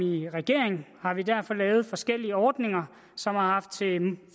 i regering har vi derfor lavet forskellige ordninger som har haft til